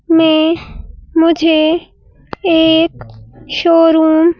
में मुझे एक शोरूम --